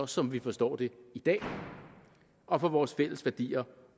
som vi forstår det i dag og for vores fælles værdier